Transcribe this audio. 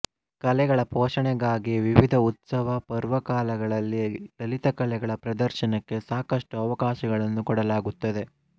ಕಲೆಗಳ ಪೋಷಣೆಗಾಗಿವಿವಿಧ ಉತ್ಸವ ಪರ್ವಕಾಲಗಳಲ್ಲಿ ಲಲಿತಕಲೆಗಳ ಪ್ರದರ್ಶನಕ್ಕೆ ಸಾಕಷ್ಟು ಅವಕಾಶಗಳನ್ನು ಕೊಡಲಾಗುತ್ತದೆ